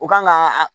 U kan ka